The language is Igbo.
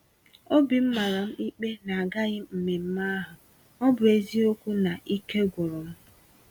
Obim màràm ikpe na agaghịm mmemmé ahụ, ọbụ eziokwu na Ike gwụrụ m.